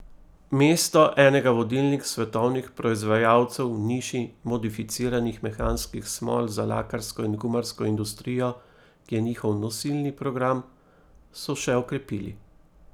Mesto enega vodilnih svetovnih proizvajalcev v niši modificiranih mehanskih smol za lakarsko in gumarsko industrijo, ki je njihov nosilni program, so še okrepili.